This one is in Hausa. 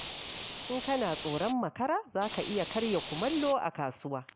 In kana tsoron makara za ka iya karya kumallo a kasuwa.